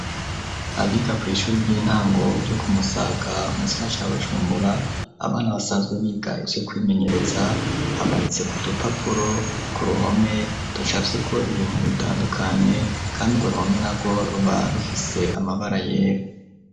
Abiga kwi shuri ry'intango yo ku Musaga mugisagara ca Bujumbura abana basanzwe biga ivyo kwimenyeretsa hamanitse ku dupapuro ku ruhome dushafye ko ibintu bitandukanye kandi urwo ruhome narwo ruba rufise amabara yera.